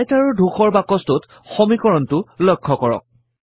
Writer ৰ ধূসৰ বাকছটোত সমীকৰণটো লক্ষ কৰক